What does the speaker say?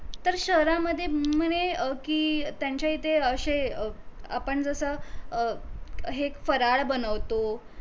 तर शहरामध्ये म्हणे हम्म म्हणे अं कि त्यांच्या इथे अशे अं आपण जस अं हे फराळ बनवतो